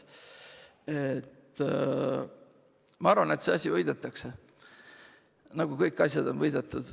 Ma arvan, et see asi võidetakse, nagu kõik asjad on võidetud.